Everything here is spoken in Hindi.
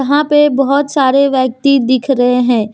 यहां पे बहोत सारे व्यक्ति दिख रहे हैं।